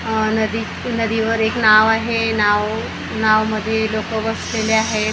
आह नदी नदीवर एक नाव आहे नाव नावमध्ये लोकं बसलेले आहेत आह--